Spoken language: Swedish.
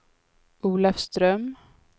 Olafström